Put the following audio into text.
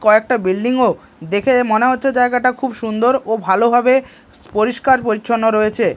কয়েকটা বিল্ডিংও -ও দেখে মনে হচ্ছে জায়গাটা খুব সুন্দর ও ভালোভাবে পরিষ্কার পরিচ্ছন্ন রয়েছে।